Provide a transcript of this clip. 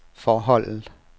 forholdet